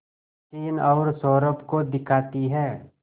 सचिन और सौरभ को दिखाती है